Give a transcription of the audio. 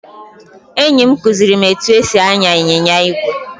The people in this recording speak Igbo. Enyi m kuziri m etu esi anya ịnyịnya igwe.